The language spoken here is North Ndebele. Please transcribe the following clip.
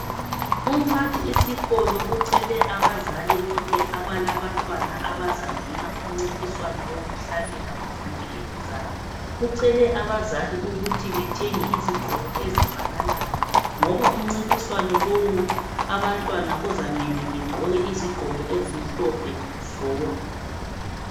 Umphathisikolo ucele abazali bonke abalabantwana abazangena kumncintiswano wokuhlabela kuviki elizayo. Ucele abazali ukuthi bathenge izigqoko ezifananayo ngoba umncintiswano lowu abantwana kuzamele bagqoke izigqoko ezimhlophe zodwa.